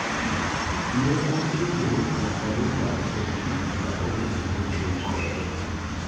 Ne obedo jakanyo mar od bura ma ong'e ngama ochung' kode.